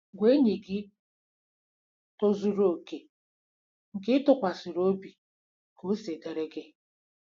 Gwa enyi gị tozuru okè, nke ị tụkwasịrị obi .ka ọ siri dịrị gị